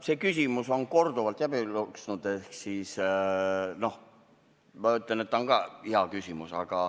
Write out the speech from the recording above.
See küsimus on korduvalt läbi jooksnud ja ma ütlen, et see on samuti hea küsimus.